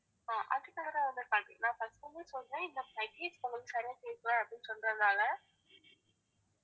அது நான் first ல இருந்தே சொல்றேன் இந்த package உங்களுக்கு சரியா கேக்கல அப்படின்னு சொல்றதுனால